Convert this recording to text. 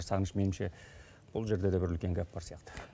сағыныш менімше бұл жерде де бір үлкен гәп бар сияқты